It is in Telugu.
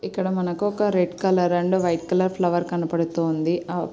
ఇక్కడ మనకు ఒక red colour and white colour flower కనబడుతూ ఉంది. ఆ --